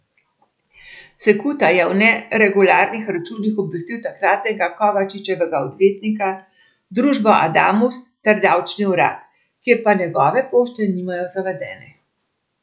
Cekuta je o neregularnih računih obvestil takratnega Kovačičevega odvetnika, družbo Adamus ter davčni urad, kjer pa njegove pošte nimajo zavedene.